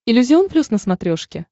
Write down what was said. иллюзион плюс на смотрешке